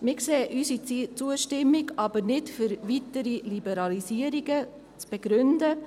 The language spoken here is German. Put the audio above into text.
Wir sehen unsere Zustimmung aber nicht dafür vor, weitere Liberalisierungen zu begründen.